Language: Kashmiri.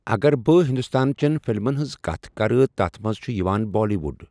اگر بہٕ ہندوستانچٮ۪ٮ۪ن فلمن ہٕنٛز کتھ کرٕ تتھ منٛز چھِ یِوان بالی وُڈ۔